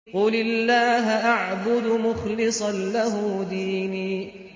قُلِ اللَّهَ أَعْبُدُ مُخْلِصًا لَّهُ دِينِي